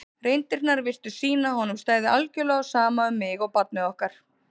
reyndirnar virtust sýna að honum stæði algjörlega á sama um mig og barnið okkar.